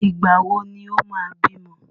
Ìgbà wò ni o máa bímọ?